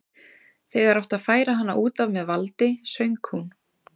Þegar átti að færa hana út af með valdi söng hún